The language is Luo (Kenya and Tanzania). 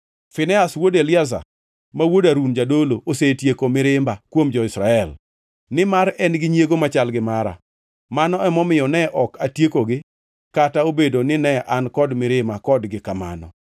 “Finehas wuod Eliazar, ma wuod Harun jadolo, osetieko mirimba kuom jo-Israel; nimar en gi nyiego machal gi mara; mano emomiyo ne ok atiekogi kata obedo nine an kod mirima kodgi kamano.